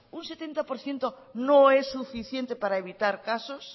un setenta por ciento no es suficiente para evitar casos